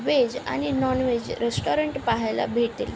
Veg आणि non veg restaurant पाहायला भेटेल.